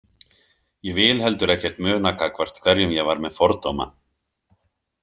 Ég vil heldur ekkert muna gagnvart hverjum ég var með fordóma.